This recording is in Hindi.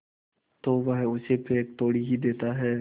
तो वह उसे फेंक थोड़े ही देता है